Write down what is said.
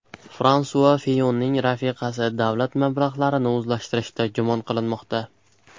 Fransua Fiyonning rafiqasi davlat mablag‘larini o‘zlashtirishda gumon qilinmoqda.